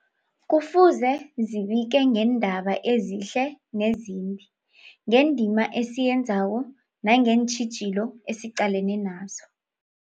Kufuze zibike ngeendaba ezihle nezimbi, ngendima esiyenzako nangeentjhijilo esiqalene nazo.